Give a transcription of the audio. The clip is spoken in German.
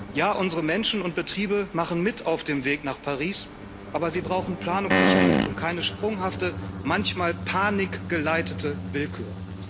Ja, unsere Menschen und Betriebe machen mit auf dem Weg nach Paris, aber sie brauchen Planungssicherheit und keine sprunghafte, manchmal von Panik geleitete Willkür.